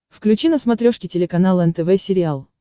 включи на смотрешке телеканал нтв сериал